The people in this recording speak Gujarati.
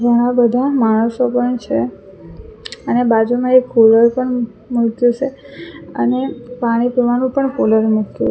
ઘણા બધા માણસો પણ છે અને બાજુમાં એક કૂલર મુકયુ છે અને પાણી પીવાનું પણ કુલર મુકયુ --